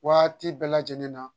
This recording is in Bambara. Waati bɛɛ lajɛlen na